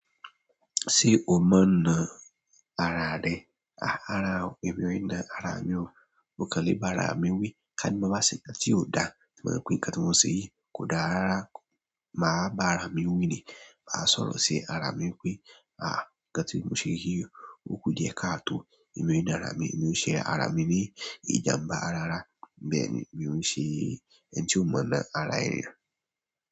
Ṣé o mọ̀ ọ́n náà ara rẹ? Àrá, èmi o i náà ara mi ò, mo kán lẹ̀ bá ara mi wí, ká ní mo máa ṣe nkán tì òdà tí o ba je pe nkan tì mo ṣè yí, kódàárá rara, máa bá ara mi wí ni, bá sọ̀rọ̀ ṣi ara mi wípé, aá nkán tì mo ṣè yí o. Òkú di ẹ ká tó, èmi i náà ara mi, èmi ò ṣe ara mi ní ìjàmbá ara rárá, bẹ́ẹ̀ ni èmi ò ṣe é. Ẹni tí o mọ̀ ọ́n ara ènìyàn.